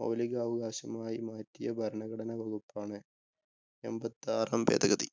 മൗലികാവകാശമായി മാറ്റിയ ഭരണഘടനാ വകുപ്പാണ്, എൺപത്താറാം ഭേദഗതി.